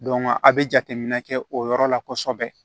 a bɛ jateminɛ kɛ o yɔrɔ la kosɛbɛ